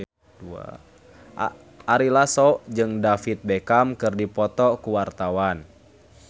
Ari Lasso jeung David Beckham keur dipoto ku wartawan